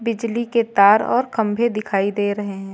बिजली के तार और खंभे दिखाई दे रहें हैं।